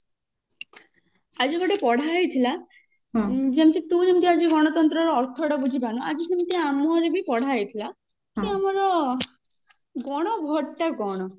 ଆଜି ଗୋଟେ ପଢା ହେଇଥିଲା ଯେମତି ତୁ ଆଜି ଯେମତି ଗଣତନ୍ତ୍ର ର ଅର୍ଥ ଟା ବୁଝି ପାରିନୁ ଆଜି ସେମତି ଆମର ପଢା ହେଇଥିଲା କି ଆମର ଗଣ vote ଟା କଣ